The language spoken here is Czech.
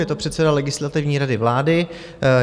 Je to předseda Legislativní rady vlády.